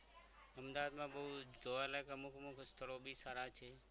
અમદાવાદમાં બહુ જોવાલાયક અમુક સ્થળો પણ સારા છે.